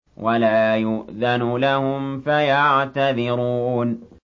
وَلَا يُؤْذَنُ لَهُمْ فَيَعْتَذِرُونَ